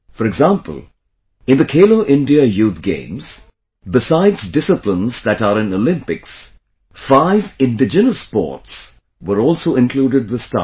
For example, in Khelo India Youth Games, besides disciplines that are in Olympics, five indigenous sports, were also included this time